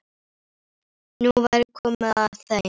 Nú væri komið að þeim.